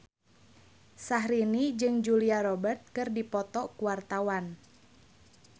Syahrini jeung Julia Robert keur dipoto ku wartawan